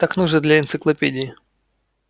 так нужно для энциклопедии